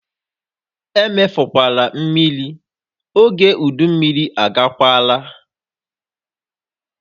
Emefukwala mmiri! Ógè udu mmiri agakwaala!